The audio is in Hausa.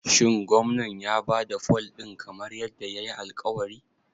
Shin Gwamnan ya ba da fol ɗin kamar yadda yayi alƙawari?